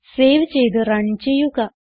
save ചെയ്ത് run ചെയ്യുക